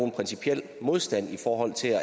noget sig